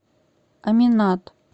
аминат